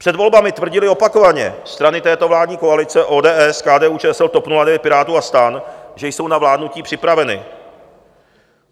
Před volbami tvrdili opakovaně strany této vládní koalice - ODS, KDU-ČSL, TOP 09, Pirátů a STAN - že jsou na vládnutí připraveny.